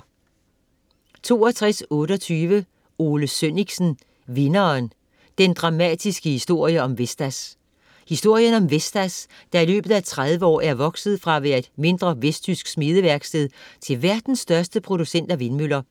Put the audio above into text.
62.28 Sønnichsen, Ole: Vinderen: den dramatiske historie om Vestas Historien om Vestas, der i løbet af 30 år er vokset fra at være et mindre vestjysk smedeværksted til verdens største producent af vindmøller.